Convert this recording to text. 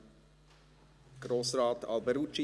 Ich gebe Grossrat Alberucci das Wort.